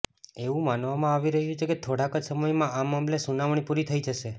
એવું માનવામાં આવી રહ્યું છે કે થોડાક જ સમયમાં આ મામલે સુનાવણી પુરી થઈ જશે